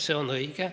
See on õige.